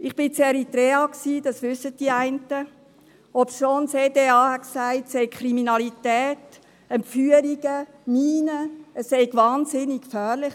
Ich war in Eritrea, das wissen einige von Ihnen, obwohl das Eidgenössische Departement für auswärtige Angelegenheiten (EDA) sagte, es gebe Kriminalität, Entführungen, Minen, es sei dort wahnsinnig gefährlich.